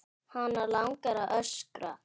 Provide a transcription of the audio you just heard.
Hana langar að öskra.